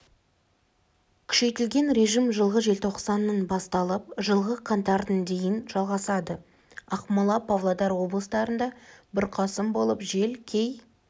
күшейтілген режим жылғы желтоқсанның басталып жылғы қаңтардың дейін жалғасады ақмола павлодар облыстарында бұрқасын болып жел кей